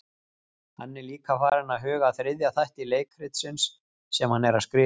Hann er líka farinn að huga að þriðja þætti leikritsins sem hann er að skrifa.